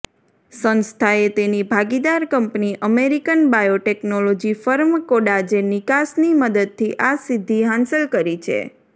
સંસ્થાએ તેની ભાગીદાર કંપની અમેરિકન બાયોટેકનોલોજી ફર્મ કોડાજેનિકસની મદદથી આ સિદ્ધિ હાંસલ કરી છે